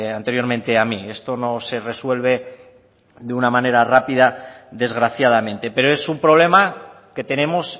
anteriormente a mí esto no se resuelve de una manera rápida desgraciadamente pero es un problema que tenemos